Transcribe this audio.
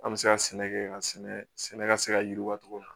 An bɛ se ka sɛnɛ kɛ ka sɛnɛ sɛnɛ ka se ka yiriwa cogo min na